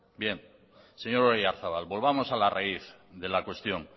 bien señor oyarzabal volvamos a la raíz de la cuestión